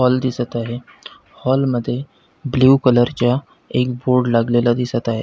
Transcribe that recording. Hall दिसत आहे hall मध्ये ब्ल्यु कलर च्या एक बोर्ड लागलेला दिसत आहे.